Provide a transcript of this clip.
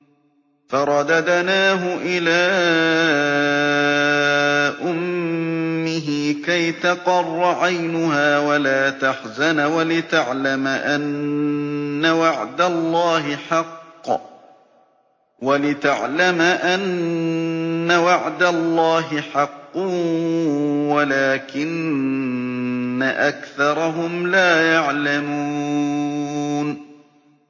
فَرَدَدْنَاهُ إِلَىٰ أُمِّهِ كَيْ تَقَرَّ عَيْنُهَا وَلَا تَحْزَنَ وَلِتَعْلَمَ أَنَّ وَعْدَ اللَّهِ حَقٌّ وَلَٰكِنَّ أَكْثَرَهُمْ لَا يَعْلَمُونَ